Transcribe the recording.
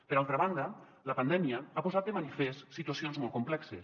per altra banda la pandèmia ha posat de manifest situacions molt complexes